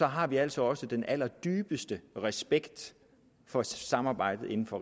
har vi altså også den allerdybeste respekt for samarbejdet inden for